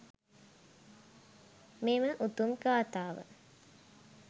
මෙම උතුම් ගාථාව